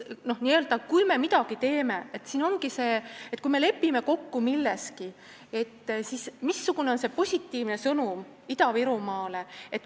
Nii et kui me midagi teeme, kui me lepime milleski kokku, siis siin ongi oluline see, missugune on see positiivne sõnum Ida-Virumaale.